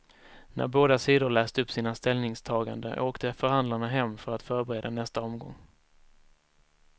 När båda sidor läst upp sina ställningstaganden åkte förhandlarna hem för att förbereda nästa omgång.